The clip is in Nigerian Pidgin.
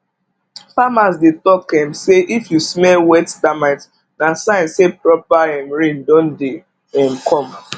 farmers dey talk um say if you smell wet termite na sign say proper um rain don dey um come